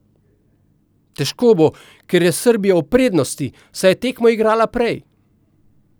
Težko bo, ker je Srbija v prednosti, saj je tekmo igrala prej.